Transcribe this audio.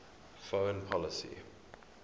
foreign policy